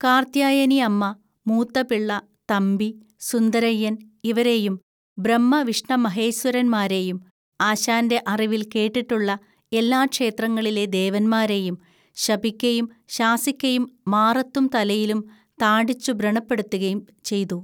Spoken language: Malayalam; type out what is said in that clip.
കാർത്യായനിഅമ്മ, മൂത്തപിള്ള, തമ്പി, സുന്ദരയ്യൻ ഇവരെയും, ബ്രഹ്മവിഷ്ണമഹേസ്വരന്മാരെയും, ആശാൻ്റെ അറിവിൽ കേട്ടിട്ടുള്ള എല്ലാ ക്ഷേത്രങ്ങളിലെ ദേവന്മാരേയും, ശപിക്കയും ശാസിക്കയും മാറത്തും തലയിലും താഡിച്ചു ബ്രണപ്പെടുത്തുകയും ചെയ്തു.